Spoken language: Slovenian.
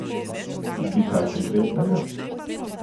Bi kaj konkretnega?